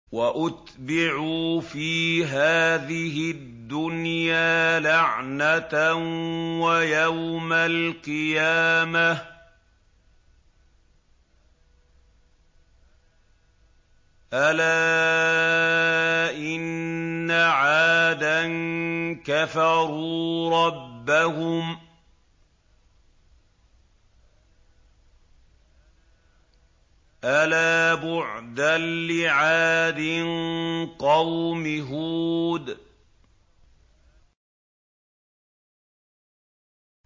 وَأُتْبِعُوا فِي هَٰذِهِ الدُّنْيَا لَعْنَةً وَيَوْمَ الْقِيَامَةِ ۗ أَلَا إِنَّ عَادًا كَفَرُوا رَبَّهُمْ ۗ أَلَا بُعْدًا لِّعَادٍ قَوْمِ هُودٍ